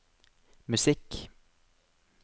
musikk